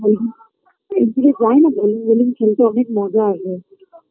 বলছি যায় না তো আমি বলি সেদিনকে অনেক মজা আসবে